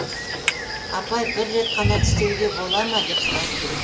апай бір рет қана тістеуге болады ма деп сұрады біреу